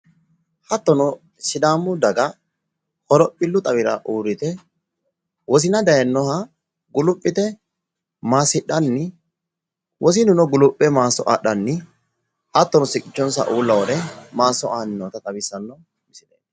hattono sidaamu daga horophillu xawira uurrite wosina daayinoha guluphite maassidhanni wosinuno quluphe maasso adhanni hattono siqqicho uulla wore maaso aanni nootta xawissanno.